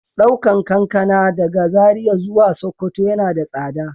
Daukan kankana daga Zaria zuwa sokoto yana da tsada.